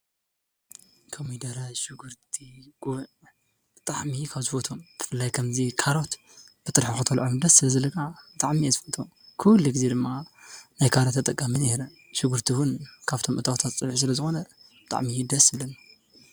ኮሚደረ፣ ሽጉርቲ ፣ጉዕ ብጣዓሚ ካብ ዝፈትዎም ብፍላይ ከምዚ ካሮት ብጥርሑ ክትበልዖ እውን ደስ ስለ ዝብለካ ብጣዓሚ እየ ዝፈትዎም። ኩሉ ግዘ ድማ ናይ ካሮት ተጠቃሚ እየ ነይረ። ሽጉርቲ እውን ካብቶም እታወታት ፀብሒ ስለዝኾነ ብጣዓሚ እዩ ደስ ዝብለኒ።